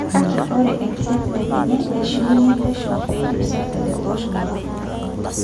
Kake ore enkidetidet enye eishunye pesho peidip serkali atosho marufuku.